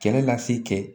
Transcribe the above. Kɛlɛ lase kɛ